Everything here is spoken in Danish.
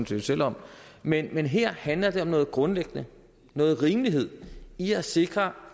set selv om men men her handler det om noget grundlæggende noget rimelighed i at sikre